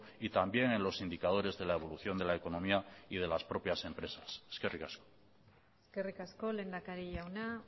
y también en los indicadores de la evolución de la economía y de las propias empresas eskerrik asko eskerrik asko lehendakari jauna